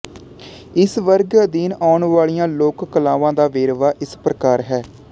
ਇਸ ਵਰਗ ਅਧੀਨ ਆਉਣ ਵਾਲੀਆਂ ਲੋਕ ਕਲਾਵਾਂ ਦਾ ਵੇਰਵਾ ਇਸ ਪ੍ਰਕਾਰ ਹੈ